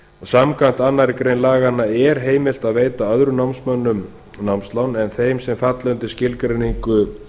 samkvæmt annarri grein laganna er heimilt að veita öðrum námsmönnum námslán en þeim sem falla undir skilgreiningu